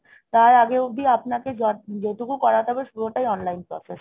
তার আগে অব্দি আপনাকে যা~ যেটুকু করাতে হবে পুরোটাই online process.